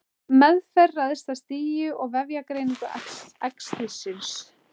Meðferð ræðst af stigi og vefjagreiningu æxlisins.